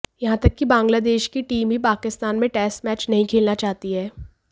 यहां तक कि बांग्लादेश की टीम भी पाकिस्तान में टेस्ट मैच नहीं खेलना चाहती है